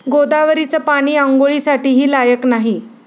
गोदावरीचं पाणी आंघोळीसाठीही लायक नाही'